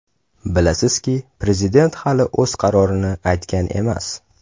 Bilasizki, prezident hali o‘z qarorini aytgan emas.